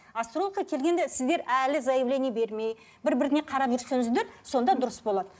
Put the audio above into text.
астрологқа келгенде сіздер әлі заяление бермей бір біріңе қарап жүрсеңіздер сонда дұрыс болады